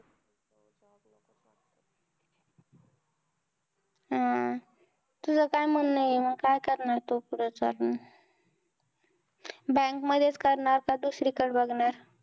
अं तुझं काय म्हणणं आहे, मग काय करणार तू पुढे चालून. bank मधेच करणार, का दुसरीकडे बघणार.